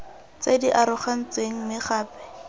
tse di arogantsweng mme gape